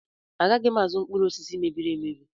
Agaghị m azụ mkpụrụ osisi mebiri emebi.